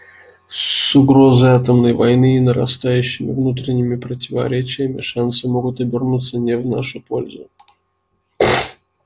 с угрозой атомной войны и нарастающими внутренними противоречиями шансы могут обернуться не в нашу пользу